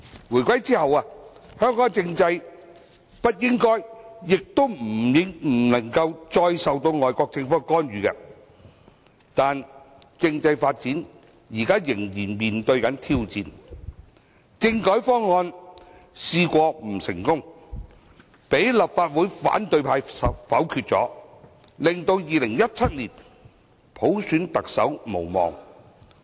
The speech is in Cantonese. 回歸後，香港政制不應該亦不能夠再受外國政府干預，但政制發展仍會面對挑戰，政改方案不成功，被立法會反對派否決，令2017年普選特首無望。